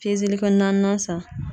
Pezeli kɛ naaninan san.